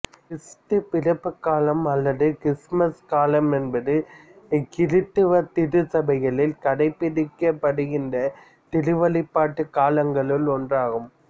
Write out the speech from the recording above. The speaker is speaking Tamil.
கிறிஸ்து பிறப்புக் காலம் அல்லது கிறித்துமசுக் காலம் என்பது கிறித்தவ திருச்சபைகளில் கடைப்பிடிக்கப்படுகின்ற திருவழிபாட்டுக் காலங்களுள் ஒன்றாகும்